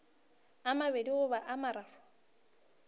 a mabedi goba a mararo